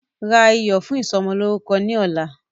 Ra iyọ̀ fún ìsọmọlórúkọ ni ọ̀la!